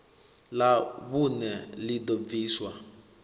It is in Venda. ḽa vhuṋe ḽi ḓo bviswa